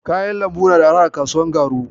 Kayan lambun na da arha a kasuwar Garu?